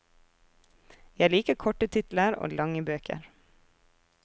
Jeg liker korte titler og lange bøker.